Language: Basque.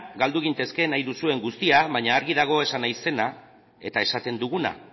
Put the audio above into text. galdu gintezke nahi duzuen guztia baina argi dago esan nahi zena eta esaten duguna